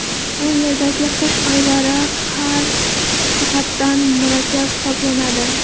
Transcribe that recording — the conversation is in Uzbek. Bu yerdagi qish oylari har jihatdan murakkab hisoblanadi.